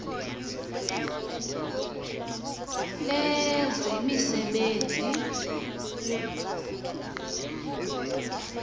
lezemisebenzi